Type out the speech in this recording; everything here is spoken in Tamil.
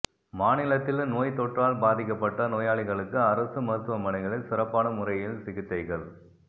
மாநிலத்தில் நோய் தொற்றால் பாதிக்கப்பட்ட நோயாளிகளுக்கு அரசு மருத்துவமனைகளில் சிறப்பான முறை யில் சிகிச்சைகள்